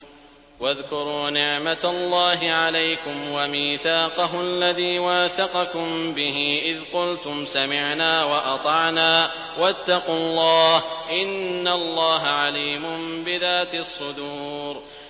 وَاذْكُرُوا نِعْمَةَ اللَّهِ عَلَيْكُمْ وَمِيثَاقَهُ الَّذِي وَاثَقَكُم بِهِ إِذْ قُلْتُمْ سَمِعْنَا وَأَطَعْنَا ۖ وَاتَّقُوا اللَّهَ ۚ إِنَّ اللَّهَ عَلِيمٌ بِذَاتِ الصُّدُورِ